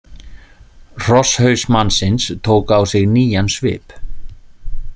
Hrosshaus mannsins tók á sig nýjan svip.